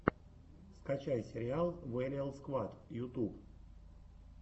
скачай сериал вэлиал сквад ютуб